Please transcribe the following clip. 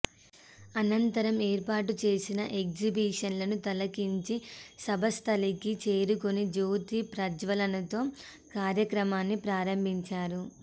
అనంతరం ఏర్పాటుచేసిన ఎగ్జిబిషన్ను తిలకించి సభాస్థలికి చేరుకుని జ్యోతి ప్రజ్వలనతో కార్యక్రమాన్ని ప్రారంభించారు